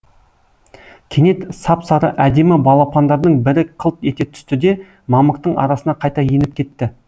кенет сап сары әдемі балапандардың бірі қылт ете түсті де мамықтың арасына қайта еніп кетті